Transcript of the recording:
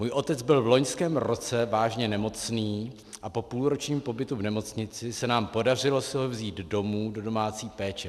"Můj otec byl v loňském roce vážně nemocný a po půlročním pobytu v nemocnici se nám podařilo si ho vzít domů do domácí péče.